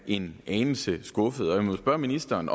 en anelse skuffet jeg må spørge ministeren